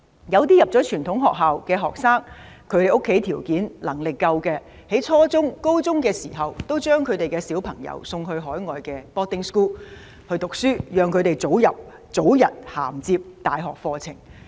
有些入讀傳統學校的學生，家中有條件、有能力，在初中或高中時，家長會將他們送到海外的寄宿學校讀書，讓他們早日銜接大學課程。